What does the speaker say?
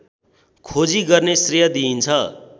खोजी गर्ने श्रेय दिइन्छ